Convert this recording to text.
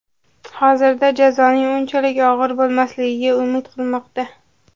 Hozirda jazoning unchalik og‘ir bo‘lmasligiga umid qilinmoqda.